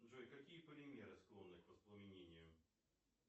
джой какие полимеры склонны к воспламенению